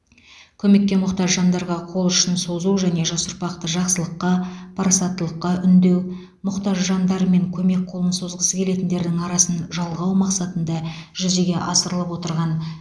көмекке мұқтаж жандарға қол ұшын созу және жас ұрпақты жақсылыққа парасаттылыққа үндеу мұқтаж жандар мен көмек қолын созғысы келетіндердің арасын жалғау мақсатында жүзеге асырылып отырған